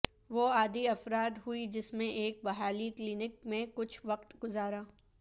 وہ عادی افراد ہوئی جس میں ایک بحالی کلینک میں کچھ وقت گزارا